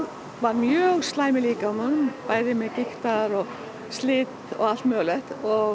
var mjög slæm í líkamanum bæði með gigt og slit og allt mögulegt